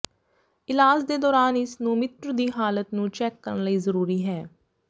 ਇਲਾਜ ਦੇ ਦੌਰਾਨ ਇਸ ਨੂੰ ੋਮਿਟ੍ਰ ਦੀ ਹਾਲਤ ਨੂੰ ਚੈੱਕ ਕਰਨ ਲਈ ਜ਼ਰੂਰੀ ਹੈ